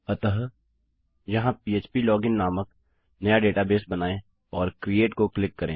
अतः यहाँ पह्प लोगिन नामक नया डेटाबेस बनायें और क्रिएट को क्लिक करें